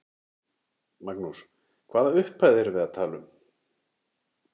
Magnús: Hvaða upphæð erum við að tala um?